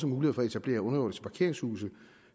mulighed for at etablere underjordiske parkeringshuse